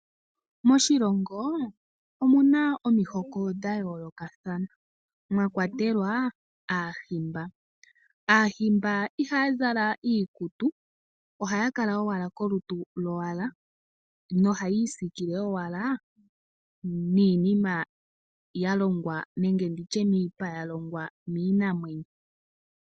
Moshilongo omuna omihoko dhayoolokathana mwakwatelwa aahimba. Aahimba ihaya zala iikutu ohaya kala owala kolutu lowala nohaya isikile owala niinima niipa yalongwa miipa yiinamwenyo.